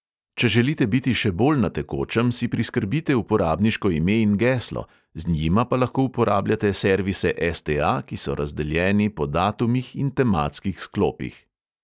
Če želite biti še bolj na tekočem, si priskrbite uporabniško ime in geslo, z njima pa lahko uporabljate servise STA, ki so razdeljeni po datumih in tematskih sklopih.